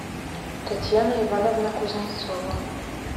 татьяна ивановна кузнецова